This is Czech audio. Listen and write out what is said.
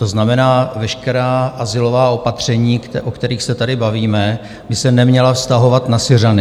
To znamená, veškerá azylová opatření, o kterých se tady bavíme, by se neměla vztahovat na Syřany.